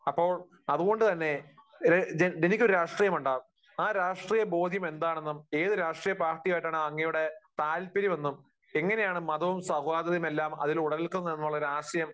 അപ്പോൾ അതുകൊണ്ടുതന്നെ ഡെന്നിക്കൊരു രാഷ്രീയമുണ്ടാകും.ആ രാഷ്ട്രീയ ബോധ്യം എന്താണെന്നന്നും ഏതു രാഷ്രീയ പാർട്ടിയുമായിട്ടാണ് അങ്ങയുടെ താല്പര്യം എന്നും എങ്ങനെയാണ് മതവും സൗഹാർദ്ദതയും എല്ലാം അതിൽ ഉടലെടുക്കുന്നത് എന്നുമുള്ള ഒരാശയം